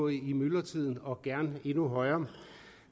i myldretiden og gerne endnu højere